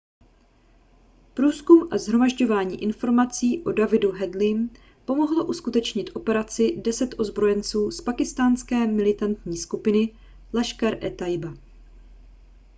průzkum a shromažďování informací o davidu headleym pomohlo uskutečnit operaci 10 ozbrojenců z pákistánské militantní skupiny laskhar-e-taiba